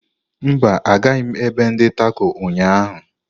Mba, agaghị m ebe ndi Tako ụnyaahụ.